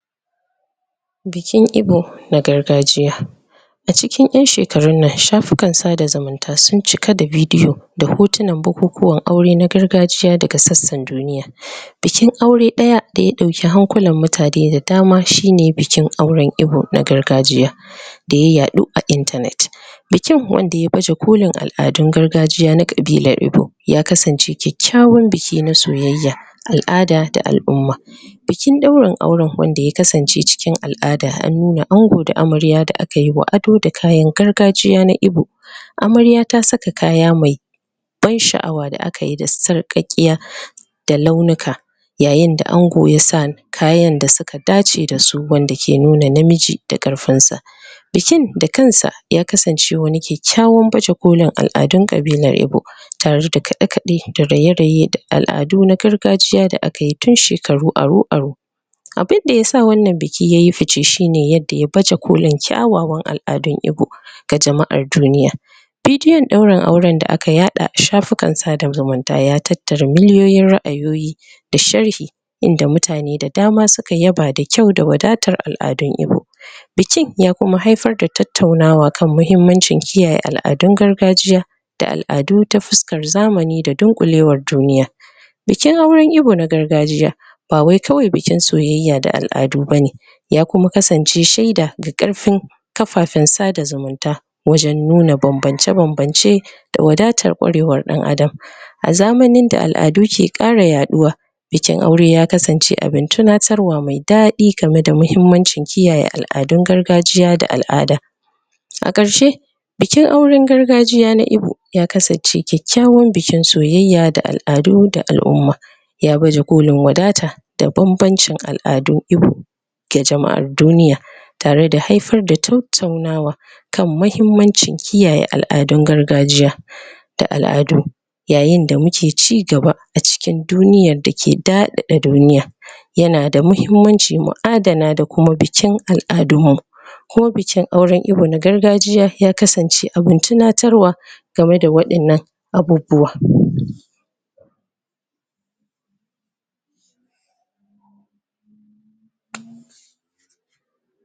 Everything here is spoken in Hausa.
Bikin Igbo na gargajiya. A cikin shekarun nan shafukan sada zumun ta sun ciki da vidiyo da hotunan bukukuwan gargajiya daga sassan duniya bikin aure ɗaya da ya ɗauki hankulan mutane da dama shine bikin Igbo na gargajiya da ya yaɗu a intanet bikin wanda ya baje kolin al'adun gargajiya na ƙabilar Igbo ya kasance kyakyawan biki na al'ada da na soyayya. Bikin ɗaurin auren wanda ya kasance na al'ada an nuna amarya da angon da akayi wa ado da kayan gargajiya na Igbo Amarya ta saka kaya mai ban sha'awa da akayi da sarƙaƙiya da launuka yayinda ango ya sa kaya wanda suka dace da su wanda yake nuna namiji da ƙarfin sa Bikin da kansa ya kasance wani kyakyawan baje kolin al'adun ƙabilar Igbo tareda kaɗe kaɗe da raye raye da al'adu na gargajiya da akayi tun shekaru aru-aru Abinda yasa wannan bikin yayi fishe shine yanda ya baje kolin kyawawan al'adun Igbo ga jama'ar duniya Vidiyon ɗaurin auren da aka yaɗa a shafikan sada zumunta ya tattara miliyoyin ra'ayi da sharhi inda mutane da dama suka yaba da kyau da wadatar al'adun Igbo bikin ya kuma haifar da tattaunawa kan muhimmancin kiyaye al'adun gargajiya da al'adu ta fuskar zamani da dunƙule war duniya bikin auren Igbo na gargajiya ba wai kawai bikin soyayya da al'adu bane ya kuma kasance shaida ga karfin kafafen sada zumunta wajen nuna banbance banbance da wadatar kwarewar dan Adam. A zamanin da al'adu ke ƙara yaɗuwa bikin aure ya kasance abin tunatarwa mai daɗi game da kiyaye al'adun gargajiya da al'ada A ƙarshe bikin auren gargajiya na Igbo ya kasance kyakyawan bikin soyayya da al'adu da al'umma ya baje kolin wadata da banbancin al'adun Igbo ga jama'an duniya tare da haifar da tattaunawa kan muhimmancin kiyaye al'adun gargajiya da al'adu yayinda muke cigaba a cikin duniyan da ke daɗaɗa duniya yanada muhimmanci mu adana da kuma bikin al'adun mu ko bikin auren Igbo na gargajiya ya kasance abin tuna game da waɗannan abubuwa